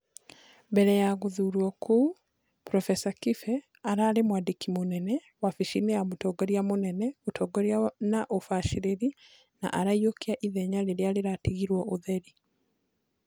Mbere ya gũthurwo kũu, Prof Kibe ararĩ mwandĩki mũnene, wabici-inĩ ya mũtongoria mũnene, ũtongoria na ũbacĩrĩri na araiyukia ithenya rĩrĩa rĩratigirwo ũtheri